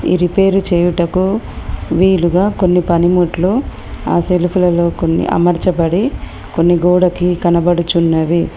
ఈ రిపేరు చేయుటకు వీలుగా కొన్ని పనిముట్లు ఆ సెల్ఫులలో కొన్ని అమరచబడి కొన్ని గోడకి కనబడుచున్నవి.